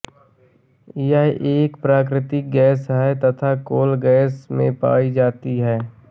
यह एक प्राकृतिक गैस है तथा कोल गैस में पाई जाती है